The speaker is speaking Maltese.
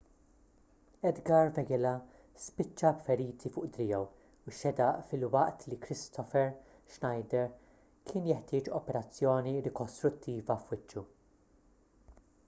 edgar veguilla spiċċa b'feriti fuq driegħu u x-xedaq filwaqt li kristoffer schneider kien jeħtieġ operazzjoni rikostruttiva f'wiċċu